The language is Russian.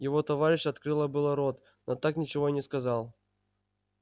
его товарищ открыла было рот но так ничего и не сказал